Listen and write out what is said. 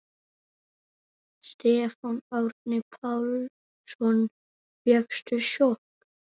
Stefán Árni Pálsson: Fékkstu sjokk?